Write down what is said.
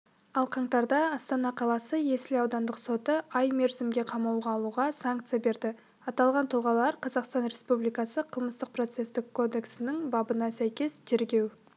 ал қаңтарда астана қаласы есіл аудандық соты ай мерзімге қамауға алуға санкцияберді аталған тұлғалар қазақстан республикасы қылмыстық-процестік кодексінің бабына сәйкес тергеу